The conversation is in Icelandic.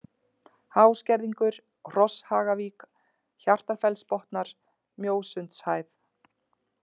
Háskerðingur, Hrosshagavík, Hjartarfellsbotnar, Mjósundshæð